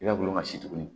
I ka gulɔ ka si tuguni